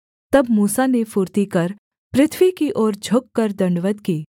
तब मूसा ने फुर्ती कर पृथ्वी की ओर झुककर दण्डवत् की